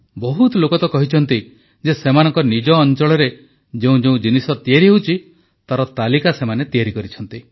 ଅନେକ ଲୋକ ସେମାନଙ୍କ ନିଜ ଅଂଚଳରେ ଯେଉଁ ଯେଉଁ ଜିନିଷ ତିଆରି ହେଉଛି ତାର ତାଲିକା ତିଆରି କରିଛନ୍ତି